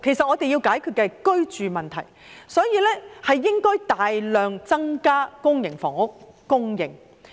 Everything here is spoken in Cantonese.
我們要解決的是居住問題，所以，要大量增加公營房屋供應。